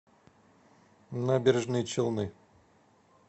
набережные челны